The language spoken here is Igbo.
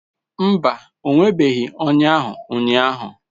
Mba, o nwebeghị ọnya ahụ ụnyahụ